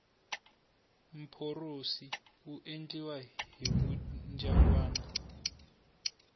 mporosi wu endliwa hi vudyangwani